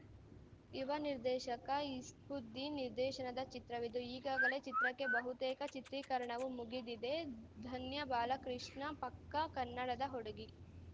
ಯುವ ನಿರ್ದೇಶಕ ಇಸ್ಲೂದ್ದೀನ್‌ ನಿರ್ದೇಶನದ ಚಿತ್ರವಿದು ಈಗಾಗಲೇ ಚಿತ್ರಕ್ಕೆ ಬಹುತೇಕ ಚಿತ್ರೀಕರಣವೂ ಮುಗಿದಿದೆ ಧನ್ಯ ಬಾಲಕೃಷ್ಣ ಪಕ್ಕಾ ಕನ್ನಡದ ಹುಡುಗಿ